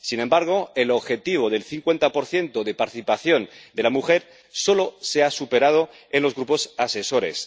Sin embargo, el objetivo del 50 de participación de la mujer solo se ha superado en los grupos asesores.